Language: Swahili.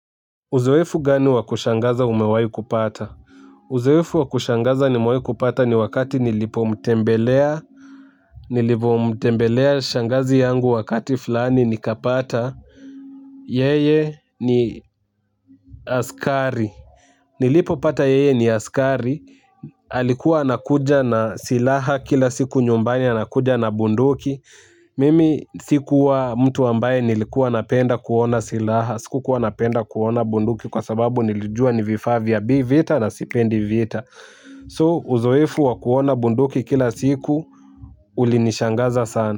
Uzoefu gani wakushangaza umewai kupata? Uzoefu wakushangaza nimewai kupata ni wakati nilipo mtembelea. Nilipo mtembelea shangazi yangu wakati fulani nikapata. Yeye ni askari. Nilipo pata yeye ni askari. Halikuwa anakuja na silaha kila siku nyumbani anakuja na bunduki. Mimi sikuwa mtu ambaye nilikuwa napenda kuona silaha. Siku kuwa napenda kuona bunduki kwa sababu nilijua ni vifa vya vita na sipendi vita So uzoefu wa kuona bunduki kila siku ulinishangaza sana.